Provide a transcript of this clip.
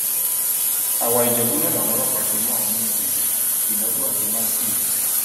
àwaìjẹbù náà làwọn ọlọpàá ti mú àwọn méjì yìí kinadu àti matthew